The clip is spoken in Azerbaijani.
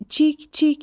Cik, cik!